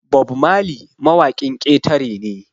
Bob Marley mawakin ƙetare ne